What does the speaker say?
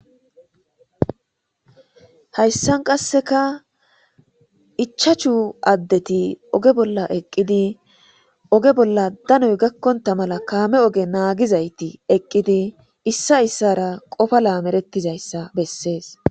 Hayssan qasseka ichashu addeti oge bolla eqqidi oge bolla danoy gakkonta mala kaame oge naagizayti eqqidi issa issara qofa laamerettizayssa bessees.